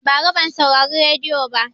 Bara ban saurari rediyo ba